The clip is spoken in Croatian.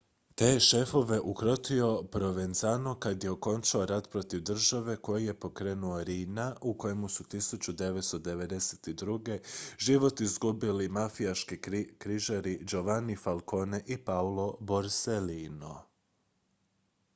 te je šefove ukrotio provenzano kad je okončao rat protiv države koji je pokrenuo riina a u kojem su 1992. život izgubili mafijaški križari giovanni falcone i paolo borsellino